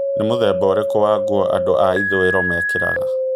nĩ mũthemba ũrikũ wa ngũo andũ a ĩthũiro mekĩraga